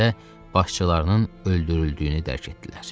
başçılarının öldürüldüyünü dərk etdilər.